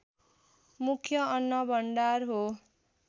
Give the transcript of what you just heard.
मुख्य अन्न भण्डार हो